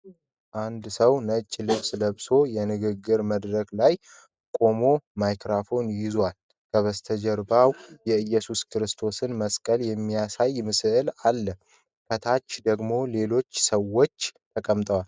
አንድ ሰው ነጭ ልብስ ለብሶ፣ የንግግር መድረክ ላይ ቆሞ ማይክሮፎን ይዞዋል። ከበስተጀርባው የኢየሱስ ክርስቶስን ምስል የሚያሳይ ስዕል አለ፤ ከታች ደግሞ ሌሎች ሰዎች ተቀምጠዋል።